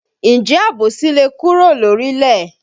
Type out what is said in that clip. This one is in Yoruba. Ǹjẹ́ àbòsí le kúrò lórílẹ̀?